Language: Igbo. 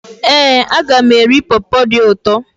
Éè, aga m eri pọpọ dị ụtọ